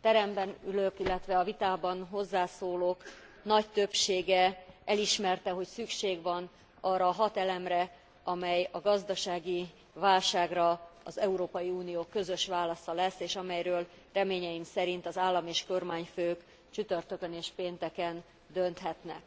teremben ülők, illetve a vitában hozzászólók nagy többsége elismerte, hogy szükség van arra a hat elemre, amely a gazdasági válságra az Európai Unió közös válasza lesz, és amelyről reményeim szerint az állam és kormányfők csütörtökön és pénteken dönthetnek.